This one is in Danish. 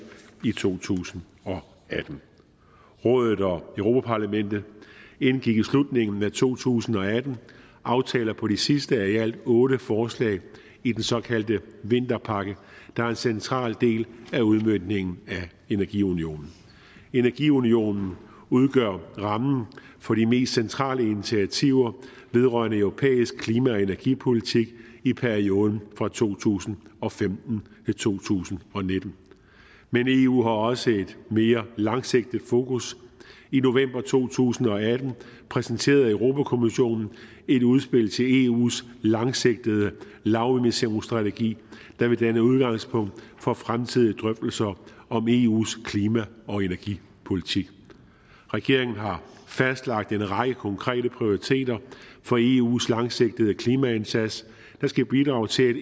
i to tusind og atten rådet og europa parlamentet indgik i slutningen af to tusind og atten aftaler på de sidste af i alt otte forslag i den såkaldte vinterpakke der er en central del af udmøntningen af energiunionen energiunionen udgør rammen for de mest centrale initiativer vedrørende europæisk klima og energipolitik i perioden fra to tusind og femten til to tusind og nitten men eu har også et mere langsigtet fokus i november to tusind og atten præsenterede europa kommissionen et udspil til eus langsigtede lavemissionsstrategi der vil danne udgangspunkt for fremtidige drøftelser om eus klima og energipolitik regeringen har fastlagt en række konkrete prioriteter for eus langsigtede klimaindsats der skal bidrage til